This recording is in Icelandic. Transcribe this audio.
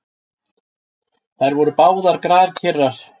Þær voru báðar grafkyrrar.